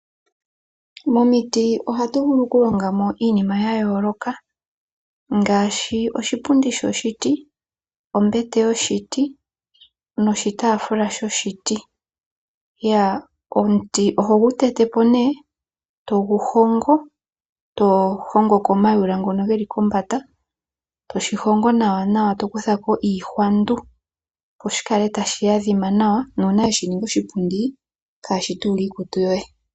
Momiti ohatu vulu okulonga mo iinima yayooloka ngaashi, oshipundi shoshiti, ombete noshitaafula shoshiti. Omuti oho gu tete po ne eto gu hongo. Tohongo ko omayula ngono geli kombanda etoshi hongo nawa eto kutha ko iihwandu opo shi kale tashi adhima nawa nuuna weshi ninga oshipundi kaashi tuule iikutu yoye.